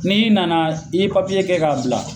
Ni nana i be kɛ k'a bila.